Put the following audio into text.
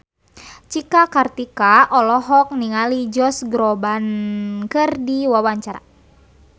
Cika Kartika olohok ningali Josh Groban keur diwawancara